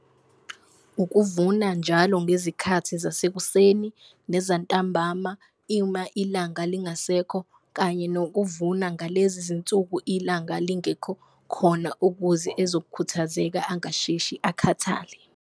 Ukuvuna njalo ngezikhathi zasekuseni nezantambama ilanga lingasekho kanye nokuvuna ngalezi zinsuku ilanga lingekho khona, ukuze ezokukhuthazeka angasheshi akhathale.